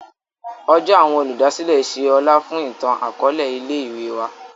Ọjọ awọn Olùdásílẹ̀ ṣe ọlá fún itan-akọọlẹ ilé-ìwé wà.